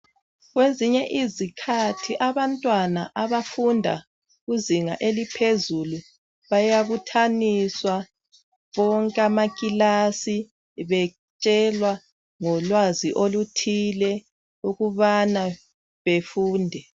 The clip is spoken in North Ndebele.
Kwezinye izikhathi abantwana abafunda kuzinga eliphezulu bayabuthaniswa bonke amakilasi betshelwa ngolwazi oluthile ukubana befunde.